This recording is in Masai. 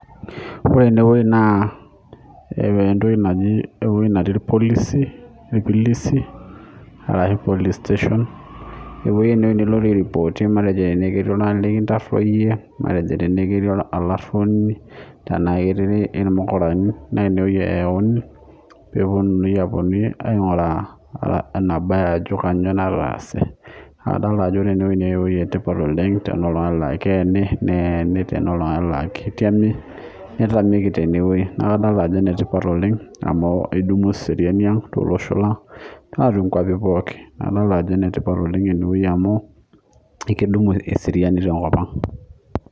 Ore enewueji naa entoki naji, ewueji natii ilpolisi, ilpolisi arashu police station. Ewueji naa nilo airipootie matejo nai enaa ketii nikintaroiye, matejo tenaekii elaruoni tenaa kiterere ilmukurani ineweji eyauni peeponii aaponu aing'uraa enebaya ajo kainyoo nalo aasie. Adol ajo ore tenewueji naa eweji etipat oleng te iltungani laa keeni ,netii lelo naa ketemi. Netamieki teineweji, naaku adol ajo enetipat oleng amu edum eseriani to losho lang naa to nkuapi pooki naaku idol ajo netipat oleng eneweji amu ekedumu eseriani te nkopang.